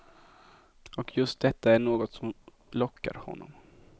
Och just detta är något som lockar honom.